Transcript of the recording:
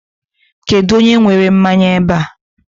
Kedụ onye were mmanya ebe a?